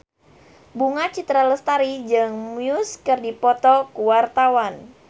Bunga Citra Lestari jeung Muse keur dipoto ku wartawan